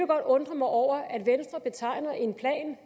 godt undre mig over at venstre betegner en plan